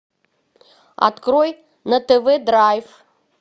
открой на тв драйв